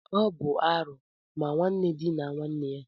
Ọ bụ arụ ma nwanne dinaa nwanne ya